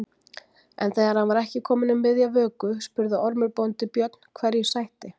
En þegar hann var ekki kominn um miðja vöku spurði Ormur bóndi Björn hverju sætti.